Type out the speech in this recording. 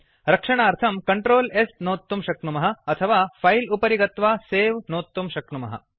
रक्षणार्थं Ctrl s नोत्तुं शक्नुमः अथवा फिले उपरि गत्वा सवे नोत्तुं शक्नुमः